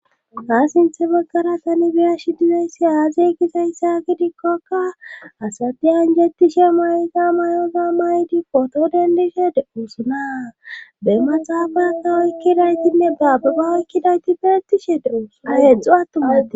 ha sinthe baggara tani biyashi dizeyssi aazey gizayssa gidikkokka asatiyanjettishe mayza may7oza maydi poto dendishe e oosuna be maxaafaka oykkidaytinne baababa oykkidayti beetishe deosua heedzdzu attummati